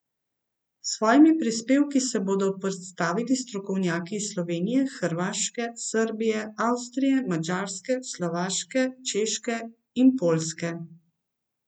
S svojimi prispevki se bodo predstavili strokovnjaki iz Slovenije, Hrvaške, Srbije, Avstrije, Madžarske, Slovaške, Češke in Poljske.